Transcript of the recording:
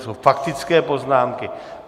To jsou faktické poznámky.